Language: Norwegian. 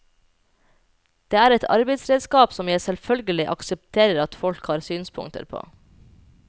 Det er et arbeidsredskap som jeg selvfølgelig aksepterer at folk har synspunkter på.